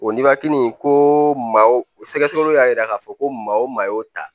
O nibanti nin ko maa sɛgɛsɛgɛliw y'a yira k'a fɔ ko maa o maa y'o ta